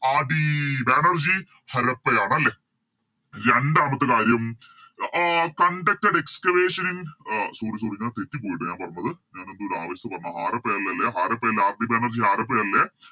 RD Banerjee ഹരപ്പയാണ് അല്ലെ രണ്ടാമത്തെ കാര്യം uh Conducted excavation in uh Sorry sorry ഞാൻ തെറ്റിപ്പോയിട്ടോ ഞാൻ പറഞ്ഞത് ഞാനെന്തോ ഒരു ആവേശത്ത് പറഞ്ഞ ഹാരപ്പയല്ലേ ല്ലേ ഹാരപ്പയല്ലേ RD ബാനർജി ഹാരപ്പയല്ലേ